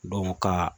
ka